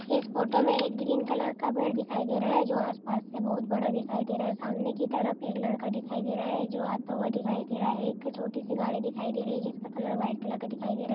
इस फोटो में एक ग्रीन कलर का पेड़ दिखाई दे रहा है जो आस पास से बहुत बड़ा दिखाई दे रहा है सामने की तरफ एक लड़का दिखाई दे रहा है जो आता हुआ दिखाई दे रहा है एक छोटी सी गाड़ी दिखाई दे रही है जिसका कलर व्हाइट कलर का दिखाई दे रहा है।